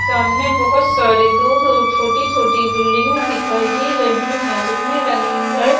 सामने बहोत सारी दूर दूर छोटी छोटी बिल्डिंगे दिखाई दे रही है जिनमें रंगीन लाइट --